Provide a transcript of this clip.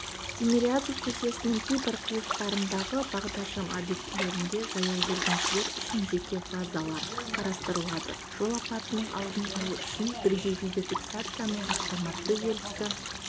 тимирязев көшесінің кейбір қиылыстарындағы бағдаршам объектілерінде жаяу жүргіншілер үшін жеке фазалар қарастырылады жол апатының алдын алу үшін бірге видеофиксацияның автоматты желісі